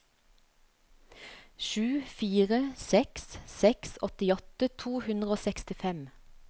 sju fire seks seks åttiåtte to hundre og sekstifem